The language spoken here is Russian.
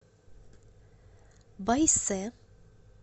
байсэ